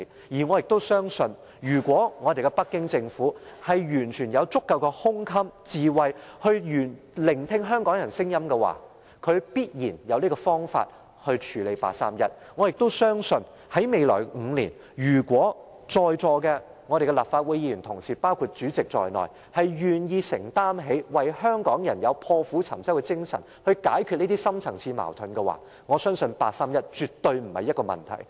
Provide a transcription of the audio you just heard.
而我也相信，如果北京政府完全有足夠的胸襟和智慧聆聽香港人的聲音，他必然有方法處理八三一決定；我也相信，未來5年，如果在座的立法會議員，包括主席，願意為香港人承擔，以破釜沉舟的精神，解決這些深層次矛盾，我相信八三一決定絕對不是問題。